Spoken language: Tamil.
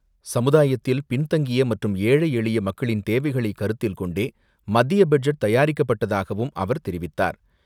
சமுதாயத்தில் பின் தங்கியமற்றும் ஏழை எளிய மக்களின் தேவைகளை கருத்தில் கொண்டே மத்திய பட்ஜெட் தயாரிக்கப்பட்டதாகவும் அவர் தெரிவித்தார்.